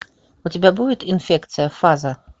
у тебя будет инфекция фаза